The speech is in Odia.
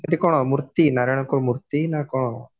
ଏଥି କଣ ମୂର୍ତି ନାରାୟଣଙ୍କର ମୂର୍ତି ନା କଣ